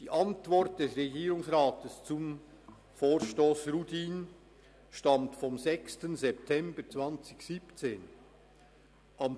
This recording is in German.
Die Antwort des Regierungsrats zum Vorstoss Rudin stammt vom 6. September 2017.